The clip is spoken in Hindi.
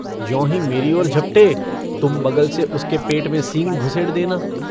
ज्योंही मेरी ओर झपटे तुम बगल से उसके पेट में सींग धुसेड़ देना।